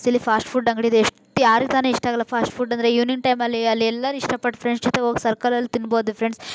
Fast food ಅಂಗಡಿ ಇದೆ. ಎಷ್ಟು ಯಾರಿಗೆ ತಾನೇ ಇಷ್ಟವಿಲ್ಲ ಫಾಸ್ಟ್ ಫುಡ್ ಅಂದ್ರೆ ಇವಿನಿಂಗ್ ಟೈಮಲ್ಲಿ ಅಲ್ಲಿ ಎಲ್ಲಾರು ಇಷ್ಟ ಪಟ್ಟು ಫ್ರೆಂಡ್ಸ್ ಜೊತೆ ಹೋಗಿ ಸರ್ಕಲ್ ಅಲ್ಲಿ ತಿನ್ನಬೋದು ಫ್ರೆಂಡ್ಸ್ .